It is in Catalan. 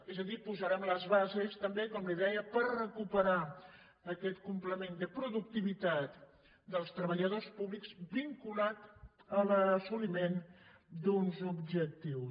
és a dir posarem les bases també com li deia també per recuperar aquest complement de productivitat dels treballadors públics vinculat a l’assoliment d’uns objectius